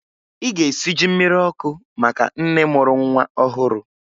Ị ga-esi ji mmiri ọkụ maka nne mụrụ nwa ọhụrụ!